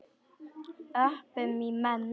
Öpum í menn.